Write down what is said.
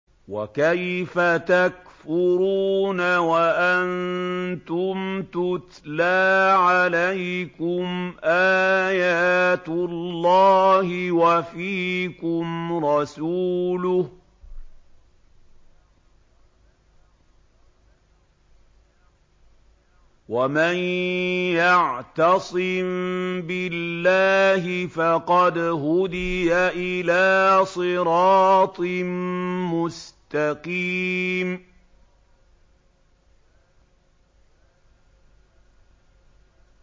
وَكَيْفَ تَكْفُرُونَ وَأَنتُمْ تُتْلَىٰ عَلَيْكُمْ آيَاتُ اللَّهِ وَفِيكُمْ رَسُولُهُ ۗ وَمَن يَعْتَصِم بِاللَّهِ فَقَدْ هُدِيَ إِلَىٰ صِرَاطٍ مُّسْتَقِيمٍ